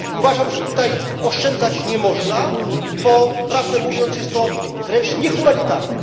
I uważam, że tutaj oszczędzać nie można, bo, prawdę mówiąc, jest to wręcz niehumanitarne.